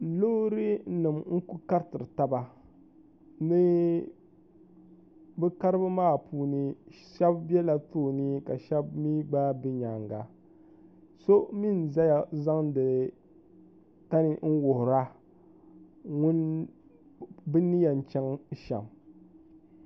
loorinima n-ku kariti taba ni bɛ karibu maa puuni shɛba bɛla tooni ka shɛba mi gba be nyaanga so mi n-zaya n-zaŋdi tani n-wuhira bɛ ni yɛn chaŋ shɛm